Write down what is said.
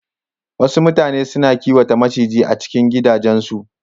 Wasu mutane suna kiwata maciji a cikin gidajen su